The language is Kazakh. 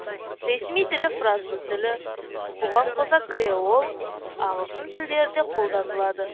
ресми тілі француз тілі бұған қоса креол ағылшын тілдері де қолданылады